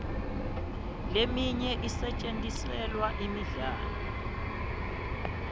leminye isetjentiselwa imidlalo